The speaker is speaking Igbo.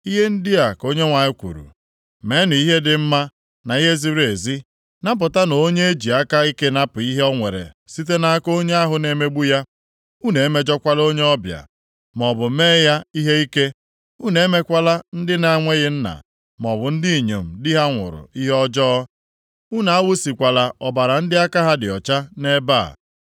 Ihe ndị a ka Onyenwe anyị kwuru, Meenụ ihe dị mma na ihe ziri ezi. Napụtanụ onye eji aka ike napụ ihe o nwere site nʼaka onye ahụ na-emegbu ya. Unu emejọkwala onye ọbịa, maọbụ mee ya ihe ike. Unu emekwala ndị na-enweghị nna, maọbụ ndị inyom di ha nwụrụ ihe ọjọọ. Unu awụsịkwala ọbara ndị aka ha dị ọcha nʼebe a.